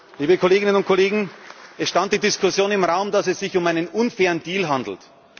geht. Liebe Kolleginnen und Kollegen, es stand die Diskussion im Raum, dass es sich um einen unfairen Deal handelt.